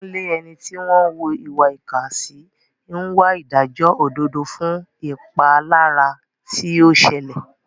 Kunle, ẹni tí wọ́n ń hùwà ìkà sí, ń wá ìdájọ́ òdodo fún ìpalára tí ó ṣẹlẹ̀.